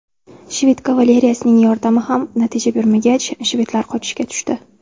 Shved kavaleriyasining yordami ham natija bermagach, shvedlar qochishga tushdi.